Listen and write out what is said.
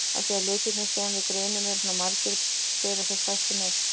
Af því að litirnir sem við greinum eru svona margir bera þeir fæstir nöfn.